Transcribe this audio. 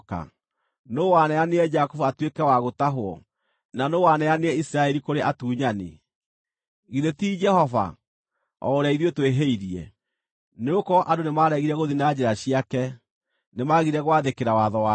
Nũũ waneanire Jakubu atuĩke wa gũtahwo, na nũũ waneanire Isiraeli kũrĩ atunyani? Githĩ ti Jehova, o ũrĩa ithuĩ twĩhĩirie? Nĩgũkorwo andũ nĩmaregire gũthiĩ na njĩra ciake; nĩmagire gwathĩkĩra watho wake.